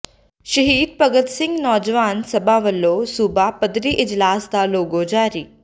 ਸਹੀਦ ਭਗਤ ਸਿੰਘ ਨੌਜਵਾਨ ਸਭਾ ਵਲੋਂ ਸੂਬਾ ਪੱਧਰੀ ਇਜਲਾਸ ਦਾ ਲੋਗੋ ਜਾਰੀ